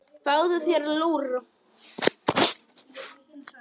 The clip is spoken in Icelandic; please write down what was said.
Fáðu þér lúr.